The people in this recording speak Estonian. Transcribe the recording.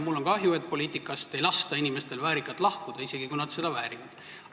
Mul on kahju, et inimestel ei lasta poliitikast väärikalt lahkuda, isegi kui nad seda väärivad.